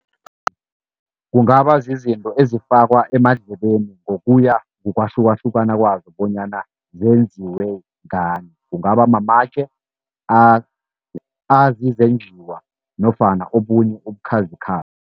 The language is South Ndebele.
Kungaba zizinto ezifakwa emandlebeni ngokuya ngokwahlukahlukana kwazo bonyana zenziwe ngani. Kungaba mamatje azizenjiwa nofana obunye ubukhazikhazi.